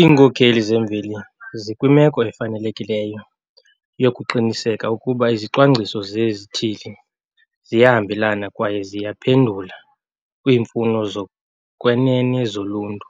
Iinkokheli zemveli zikwimeko efanelekileyo yokuqinisekisa ukuba izicwangciso zezithili ziyahambelana kwaye ziyaphendula kwiimfuno zokwenene zoluntu